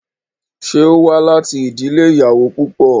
Ṣé ó wá láti ìdílé ìyàwó púpọ̀?